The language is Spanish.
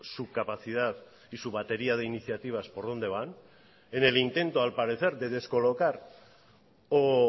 su capacidad y su batería de iniciativas por dónde van en el intento al parecer de descolocar o